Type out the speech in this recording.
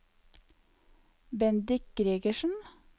Bendik Gregersen